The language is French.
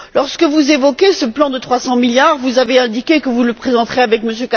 Lorsque vous avez évoqué ce plan de 300 milliards, vous avez indiqué que vous le présenteriez avec M.